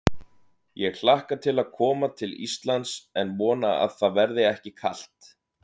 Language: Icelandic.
Ég hlakka til að koma til Íslands en vona að það verði ekki kalt.